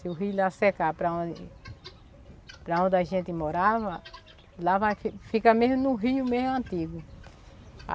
Se o rio lá secar para onde para onde a gente morava, lá vai fi, fica mesmo no rio meio antigo.